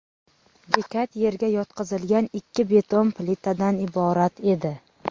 Bekat yerga yotqizilgan ikki beton plitadan iborat edi.